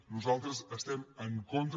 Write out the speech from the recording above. nosaltres estem en contra